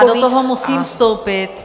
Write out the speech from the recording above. Já do toho musím vstoupit.